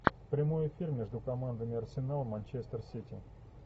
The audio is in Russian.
прямой эфир между командами арсенал манчестер сити